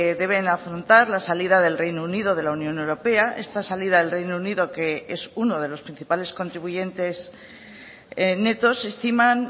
deben afrontar la salida del reino unido de la unión europea esta salida del reino unido que es uno de los principales contribuyentes netos estiman